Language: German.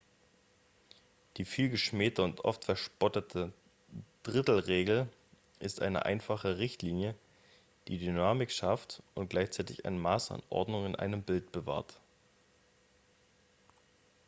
die vielgeschmähte und oft verspottete drittel-regel ist eine einfache richtlinie die dynamik schafft und gleichzeitig ein maß an ordnung in einem bild bewahrt